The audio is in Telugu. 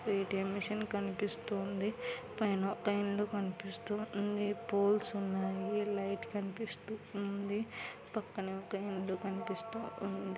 ఏ_టీ_ఎం మిషన్ కనిపిస్తు ఉంది కనిపిస్తూ ఉంది పోల్స్ ఉన్నాయి లైట్ కనిపిస్తు ఉంది పక్కన ఒక ఇల్లు కనిపిస్తూ ఉంది.